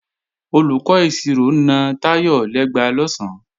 Olùkọ́ ìṣirò na Táyọ̀ lẹ́gba lọ̀sán